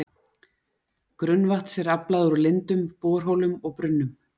Grunnvatns er aflað úr lindum, borholum og brunnum.